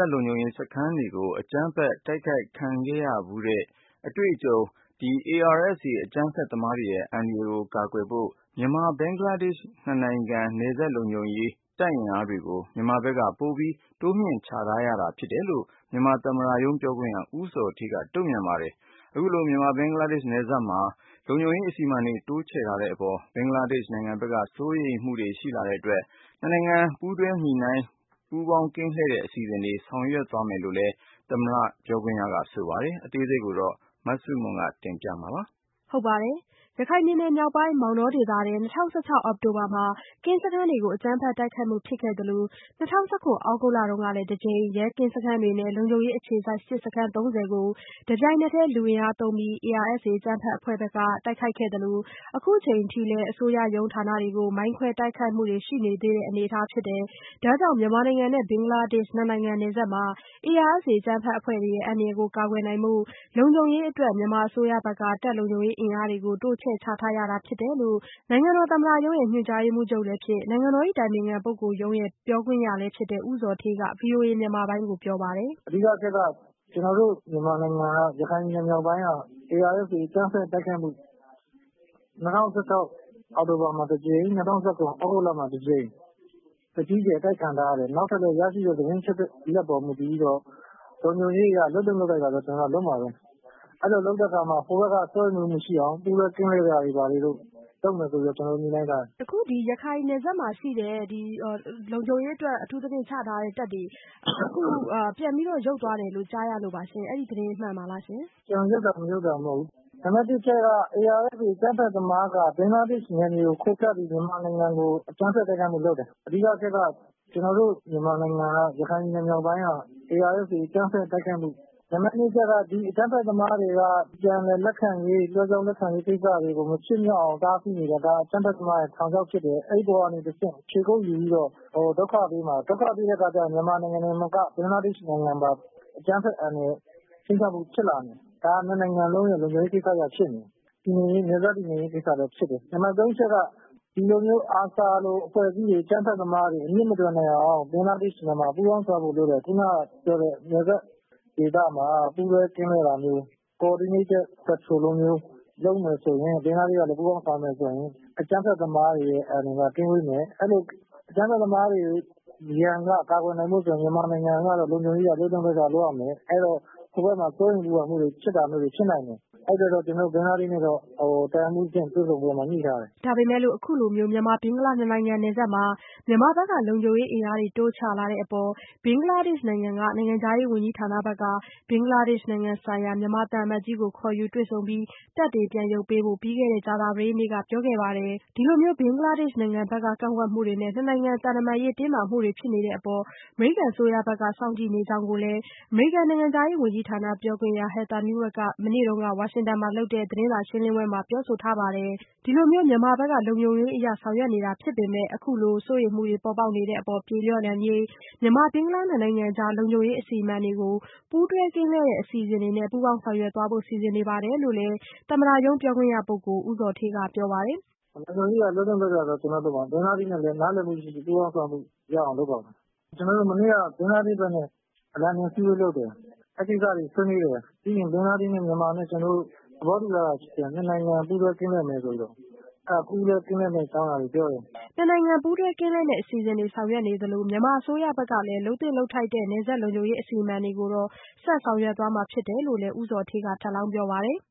ပ်လုံခြုံရေးစခန်းတွေကို အကြမ်းဖက်တိုက်ခိုက်ခံခဲ့ရဖူးတဲ့အတွက် ARSA အကြမ်းဖက်သမားတွေရဲ့ အန္တရာယ်ကာကွယ်တဲ့အနေနဲ့ မြန်မာ-ဘင်္ဂလားနိုင်ငံ နယ်စပ်လုံခြုံရေးတပ်အင်အားတွေကို မြန်မာဘက်က ပိုပြီးတော့ တင်းမြှင့်ချထားတာဖြစ်တယ်လို့ မြန်မာသမ္မတရုံး ပြောခွင့်ရ ဦးဇော်ဌေးကပြောပါတယ်။ အခုလို မြန်မာ-ဘင်္ဂလားနယ်စပ်မှာ မြန်မာတပ်တွေ လုံခြုံရေးအစီအမံတွေ တိုးချထားတဲ့အပေါ် ဘင်္ဂလားနိုင်ငံဘက်က စိုးရိမ်မှုတွေရှိလာတဲ့အတွက် နှစ်နိုင်ငံ ပူးတွဲညှိနှိုင်းပြီး ပူးပေါင်းကင်းလှည့်တဲ့အစီအစဉ်တွေ ဆောင်ရွက်သွားမယ်လို့လည်း သမ္မတပြောခွင့်ရ ဆိုပါတယ်။ အသေးစိတ်ကို မဆုမွန် ပြောပြပေးပါမယ်။ ရခိုင်ပြည်နယ်မြောက်ပိုင်း မောင်တောဒေသထဲ ၂၀၁၆ အောက်တိုဘာမှာ ကင်းစခန်းတွေကို အကြမ်းဖက်တိုက်ခိုက်မှုဖြစ်ခဲ့သလို ၂၀၁၇ သြဂုတ်လနှောင်းပိုင်း မှာလည်း တကြိမ် ရဲကင်းစခန်းတွေနဲ့ လုံခြုံရေးအခြေစိုက်စစ်စခန်း ၃၀ကို တပြိုင်နက်တည်း လူအင်အားသုံးပြီး ARSA အကြမ်းဖက်အဖွဲ့ဘက်က တိုက်ခိုက်ခဲ့သလို အခုအချိန်အထိလည်း အစိုးရရုံးဌာနတွေကို မိုင်းခွဲတိုက်ခိုက်မှုတွေ ရှိနေသေးတဲ့ အနေအထားဖြစ်တယ်။ ဒါကြောင့် မြန်မာနိုင်ငံနဲ့ ဘင်္ဂလားဒေ့ရှ်နှစ်နိုင်ငံ နယ်စပ်မှာ ARSA အကြမ်းဖက်အဖွဲ့တွေရဲ့ အန္တရာယ်ကာကွယ်နိုင်ဖို့ လုံခြုံရေးအတွက် မြန်မာအစိုးရဘက်က တပ်လုံခြုံရေးအင်အားတွေကို တိုးချဲ့ ချထားရတာဖြစ်တယ်လို့ နိုင်ငံတော်သမ္မတရုံး ညွှန်ကြားရေးမှူးချုပ်လည်းဖြစ် နိုင်ငံတော်အတိုင်ပင်ခံပုဂ္ဂိုလ်ရုံးပြောခွင့်ရလည်းဖြစ်တဲ့ ဦးဇော်ဌေး က ဗွီအိုအေမြန်မာပိုင်းကိုပြောပါတယ်။ "အဓိကအချက်ကတော့ ကျနော်တို့ မြန်မာနိုင်ငံ ရခိုင်ပြည်နယ်မြောက်ပိုင်း ARSA အကြမ်းဖက်တိုက်ခိုက်မှု ၂၀၁၆ အောက်တိုဘာမှာတကြိမ် ၂၀၁၇ သြဂုတ်လမှာတကြိမ် အကြီးအကျယ်အတိုက်ခံထားရတယ်။ နောက်ထပ်လည်း ရရှိတဲ့လုံခြုံရေး သတင်းအချက်အလက်တွေအပေါ် မူတည်ပြီး လုံခြုံရေးအရ လုပ်သင့်လုပ်ထိုက်တာတော့ ကျနော်တို့က လုပ်မှာပဲ။ အဲ့လိုလုပ်တဲ့အခါ ဟိုဘက်က စိုးရိမ်မှုမရှိအောင် ပူးတွဲကင်းလှည့်တာတွေ လုပ်မယ်ဆိုပြီး ကျနော်တို့ ညှိနှိုင်းထားတယ်။" မဆုမွန်။ ။ အခု ရခိုင်နယ်စပ်မှာ ရှိတဲ့ လုံခြုံရေးအတွက် အထူးသဖြင့် ချထားတဲ့ လုံခြုံရေးတပ်တွေ ပြန်ပြီးတော့မှ ရုပ်သွားတယ်လို့ ကြားရလို့ပါရှင်။ အဲ့ဒီ့သတင်း မှန်ပါသလားရှင်။ "ပြန်ရုပ်တာ မရုပ်တာမဟုတ်ဘူး။ နံပတ်တစ်အချက်က ARSA အကြမ်းဖက်သမားတွေက ဘင်္ဂလားဒေ့ရှ်နိုင်ငံဘက်ကို ခိုကပ်နေပြီးတော့ မြန်မာနိုင်ငံကို အကြမ်းဖက်တိုက်ခိုက်မှု လုပ်တယ် အဓိကအချက်က ကျနော်တို့ မြန်မာနိုင်ငံ ရခိုင်ပြည်နယ်မြောက်ပိုင်းက ARSA အကြမ်းဖက်တိုက်ခိုက်မှုဖြစ်ခဲ့တယ်။ နံပတ် နှစ်အချက်က ဒီ ARSA အဖွဲ့ အကြမ်းဖက်သမားတွေက ပြန်လည်လက်ခံရေးကိစ္စတွေကို မဖြစ်မြောက်အောင် တားဆီးနေတယ်။ ဒါ အကြမ်းဖက်သမားရဲ့ ထောင်ခြောက်ဖြစ်တယ်။ အဲဒီအပေါ်ကနေတဆင့် ခြေကုတ်ယူပြီးတော့ ဒုက္ခပေးမှာ။ ဒုက္ခပေးတဲ့အခါ ကျရင် မြန်မာနိုင်ငံတင်မက ဘင်္ဂလားဒေ့ရှ်နိုင်ငံပါ အကြမ်းဖက်အန္တရာယ် ခြိမ်းခြောက်မှု အန္တရာယ်ဖြစ်လာမယ် ဒါဟာ နှစ်နိုင်ငံအတွက် လုံခြုံရေးကိစ္စဖြစ်နေတယ်။ နှစ်နိုင်ငံ နယ်စပ်တည်ငြိမ်ရေးကိစ္စဖြစ်နေတယ်။ နံပတ်သုံးအချက်က ဒီလိုမျိုး ARSA လို၊ အဖွဲ့အစည်းတွေ အကြမ်းဖက်အဖွဲ့အစည်းတွေ အမြစ်မတွယ်နိုင်အောင် ဘင်္ဂလားဒေ့ရှ်နဲ့ မြန်မာ ပူးပေါင်းဆောင်ရွက်ဖို့လိုတယ်။ ခုနက ပြောတဲ့ နယ်စပ်ဒေသမှာ ပူးတွဲကင်းလှည့်တာမျိုးတွေ ဘင်္ဂလားဒေ့ရှ်ဘက်က ပူးပေါင်းဆောင်ရွက်မယ်ဆိုရင် အကြမ်းဖက်သမားတွေရဲ့ အန္တရာယ်က ကင်းဝေးမယ်။ အဲ့လို အကြမ်းဖက်သမားတွေရဲ့ ရန်က ကာကွယ်နိုင်ဖို့ဆိုရင် မြန်မာနိုင်ငံဘက်က လုပ်သင့်လုပ်ထိုက်တာ လုပ်ရမယ်။ အဲ့တော့ ဟိုဘက်က စိုးရိမ်ပူပင်မှုတွေ ဖြစ်နေတာတွေဖြစ်မယ်။ အဲ့ဒီ့အတွက် ကျနော်တို့ ဘင်္ဂလားဒေ့ရှ်နဲ့တော့ တပ်ရင်းမှုးအဆင့် ဆွေးနွေးပွဲမှာ ပြောထားတယ်။" ဒါပေမဲ့လို့ အခုလိုမျိုး မြန်မာ-ဘင်္ဂလားဒေ့ရှ် နှစ်နိုင်ငံ နယ်စပ်မှာ မြန်မာဘက်က လုံခြုံရေးအင်အားတွေ တိုးချလာတဲ့အပေါ် ဘင်္ဂလားဒေ့ရှ်နိုင်ငံ နိုင်ငံခြားရေးဝန်ကြီးဌာနက ဘင်္ဂလားနိုင်ငံဆိုင်ရာမြန်မာသံအမတ်ကြီးကို ခေါ်ယူတွေ့ဆုံခဲ့ပြီး တပ်တွေ ရုတ်သိမ်းဖို့ ပြီးခဲ့တဲ့ ကြာသပတေးနေ့က ပြောကြားခဲ့ပါတယ်။ ဒီလိုမျိုး ဘင်္ဂလားဒေ့ရှ်နိုင်ငံဘက်က ကန့်ကွက်မှုတွေနဲ့ နှစ်နိုင်ငံ သံတမန်ရေး တင်းမာမှုတွေဖြစ်နေတဲ့အပေါ် အမေရိကန်ပြည်ထောင်စုက အနီးကပ်စောင့်ကြည့်နေကြောင်းလည်း အမေရိကန် နိုင်ငံခြားရေး ဝန်ကြီးဌာန ပြောခွင့်ရသူ Heather Nauert က မနေ့တုန်းက ဝါရှင်တန်မှာ ပြုလုပ်တဲ့ သတင်းစာရှင်းလင်းပွဲမှာ ပြောဆိုထားပါတယ်။ ဒီလိုမျိုး မြန်မာဘက်က လုံခြုံရေးအရ ဆောင်ရွက်တာဖြစ်ပေမဲ့ အခုလိုစိုးရိမ်မှုတွေ ပေါ်ပေါက်နေတဲ့အပေါ် ပြေလျော့နိုင်ရေး မြန်မာ-ဘင်္ဂလားနှစ်နိုင်ငံကြား၊ လုံခြုံရေး အစီအမံတွေကို ပူးတွဲကင်းလှည့်တဲ့အစီအစဉ်တွေနဲ့ ပူးပေါင်း ဆောင်ရွက်သွားဖို့ စီစဉ်နေတယ်လို့လည်း သမ္မတရုံးပြောခွင့်ရပုဂ္ဂိုလ်ဦးဇော်ဌေးကပြောပါတယ်။ "လုံခြုံရေးအရ လုပ်သင့်လုပ်ထိုက်တာတော့ ကျနော်တို့ လုပ်မှာပဲ ကျနော်တို့ ဘင်္ဂလားဒေ့ရှ်နဲ့လည်း နားလည်မှုရှိရှိ ပူးပေါင်းဆောင်ရွက်မှုရှိအောင်လုပ်ပါတယ်။ ကျနော်တို့ မနေ့က ဘင်္ဂလားဒေ့ရှ်ဘက်နဲ့ အစည်းအဝေး လုပ်တယ်။ အဲ့ကိစ္စတွေ ဆွေးနွေးတယ်။ ပြီးရင် ဘင်္ဂလားဒေ့ရှ်နဲ့ မြန်မာနဲ့ နှစ်နိုင်ငံ သဘောတူ ထားတာရှိတယ် နှစ်နိုင်ငံ ပူးတွဲကင်းလှည့်မယ်ဆိုပြီးတော့ အဲ့တာ ပူးတွဲကင်းလှည့်မယ့် အကြောင်းအရာတွေ ပြောတယ်။" နှစ်နိုင်ငံ ပူးတွဲကင်းလှည့်မယ့်အစီအစဉ်တွေ ဆောင်ရွက်နေသလို မြန်မာအစိုးရဘက်က လုပ်သင့်လုပ်ထိုက်တဲ့ နယ်စပ်လုံခြုံရေး အစီအမံတွေကိုတော့ ဆက်ဆောင်ရွက်သွားမှာ ဖြစ်တယ်လို့လည်း ဦးဇော်ဌေးက ထပ်လောင်းပြောပါတယ်။ "